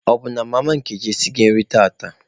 Ọ bụ na mama Nkechi esighị nri tata?